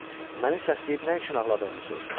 Məni səsləyib nə üçün ağladığımı soruşdu.